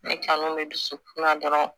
Ne kanu bɛ dusukun na dɔrɔn